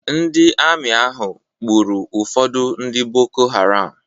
Ndị ami ahụ gburu ụfọdụ ndị Boko Haram.